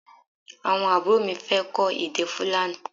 Awọn aburo mi fẹ kọ èdè Fulani